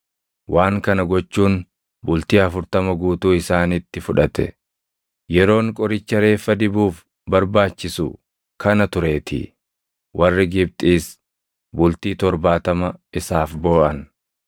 waan kana gochuun bultii afurtama guutuu isaanitti fudhate; yeroon qoricha reeffa dibuuf barbaachisu kana tureetii. Warri Gibxiis bultii torbaatama isaaf booʼan.